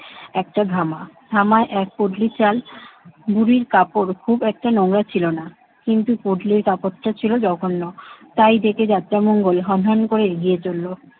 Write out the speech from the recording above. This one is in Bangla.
একটা ধামা। ধামায় এক পুটলি চাল। বুড়ির কাপড় খুব একটা নোংরা ছিল না, কিন্তু পুটলির কাপড়টা ছিল জঘন্য তাই দেখে যাত্রামঙ্গল হনহন করে এগিয়ে চলল।